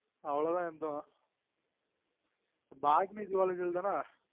அவ்ளொ தான் எடுத்தொம் botany zoology லான்